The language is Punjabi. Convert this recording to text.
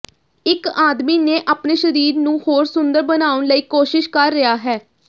ਇਕ ਆਦਮੀ ਨੇ ਆਪਣੇ ਸਰੀਰ ਨੂੰ ਹੋਰ ਸੁੰਦਰ ਬਣਾਉਣ ਲਈ ਕੋਸ਼ਿਸ਼ ਕਰ ਰਿਹਾ ਹੈ